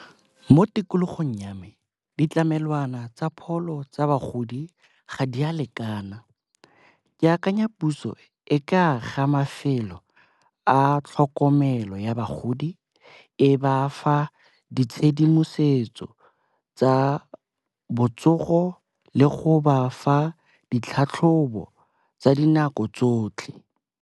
Mo tikologong ya me, ditlamelwana tsa pholo tsa bagodi ga di a lekana. Ke akanya puso e ka a ga mafelo a tlhokomelo ya bagodi, e ba fa ditshedimosetso tsa botsogo le go ba fa ditlhatlhobo tsa dinako tsotlhe.